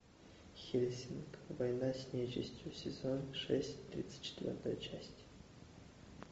хельсинг война с нечистью сезон шесть тридцать четвертая часть